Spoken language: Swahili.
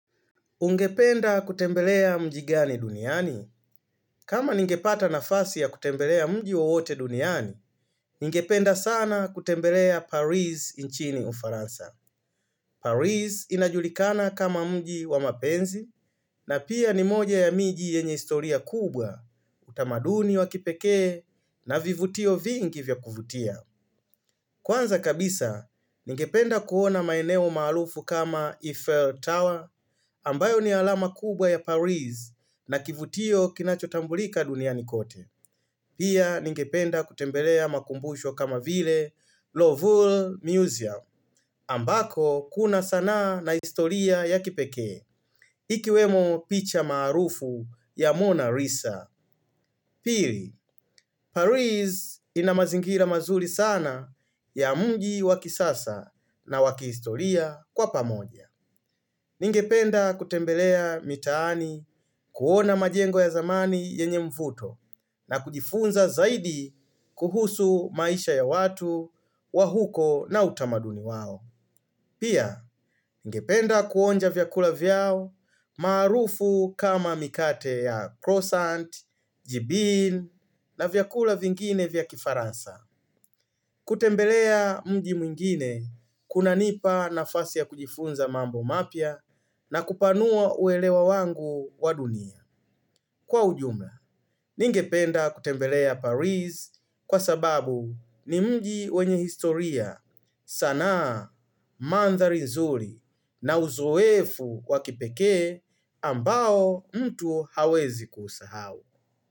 Ungependa kutembelea mjigani duniani? Kama ningepata na fasi ya kutembelea mji wowote duniani, ningependa sana kutembelea Paris nchini ufaransa. Paris inajulikana kama mji wa mapenzi, na pia ni moja ya miji yenye istoria kubwa, utamaduni wa kipekee, na vivutio vingi vya kuvutia. Kwanza kabisa, nikependa kuona maineo maharufu kama Eiffel Tower, ambayo ni alama kubwa ya Paris na kivutio kinachotambulika dunia nikote. Pia, nikependa kutembelea makumbusho kama vile Lovul Museum, ambako kuna sana na historia ya kipekee, ikiwemo picha maharufu ya Mona Risa. Pili, Paris inamazingila mazuri sana ya mji waki sasa na wakisistoria kwa pamoja. Ningependa kutembelea mitaani kuona majengo ya zamani yenye mfuto na kujifunza zaidi kuhusu maisha ya watu wa huko na utamaduni wao. Pia, ngependa kuonja vyakula vyao marufu kama mikate ya Croissant, Jibin na vyakula vingine vyakifarasa. Kutembelea mji mwingine kuna nipa na fasi ya kujifunza mambo mapia na kupanua uelewa wangu wa dunia. Kwa ujumla, ningependa kutembelea Paris kwa sababu ni mji wenye historia sana mandhali nzuri na uzuefu kwa kipeke ambao mtu hawezi kusahau.